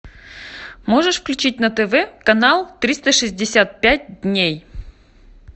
можешь включить на тв канал триста шестьдесят пять дней